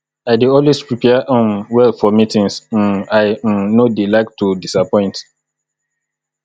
i dey always prepare um well for meetings um i um no dey like to disappoint